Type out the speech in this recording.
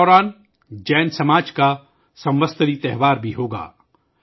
اس دوران جین سماج کا سموت سری تہوار بھی ہوگا